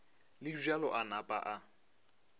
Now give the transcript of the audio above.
le bjalo a napa a